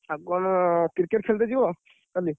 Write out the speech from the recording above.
ଆଉ କଣ Cricket ଖେଳିତେ ଯିବ, କାଲି?